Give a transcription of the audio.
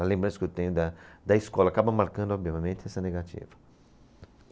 A lembrança que eu tenho da, da escola acaba marcando, obviamente, essa negativa.